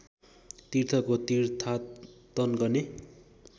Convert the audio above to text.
तीर्थको तीर्थाटन गर्ने